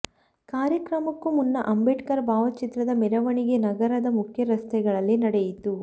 ಕಾರ್ಯಕ್ರಮಕ್ಕೂ ಮುನ್ನ ಅಂಬೇಡ್ಕರ್ ಭಾವಚಿತ್ರದ ಮೆರವಣಿಗೆ ನಗರದ ಮುಖ್ಯ ರಸ್ತೆಗಳಲ್ಲಿ ನಡೆಯಿತು